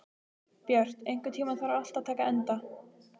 Björt, einhvern tímann þarf allt að taka enda.